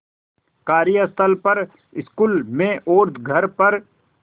कार्यस्थल पर स्कूल में और घर पर